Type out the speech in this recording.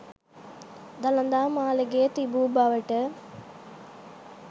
දළදා මාළිගය තිබූ බවට